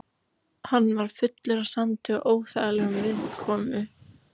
Hann var fullur af sandi og óþægilegur viðkomu.